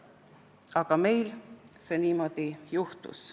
Aga meil niimoodi juhtus.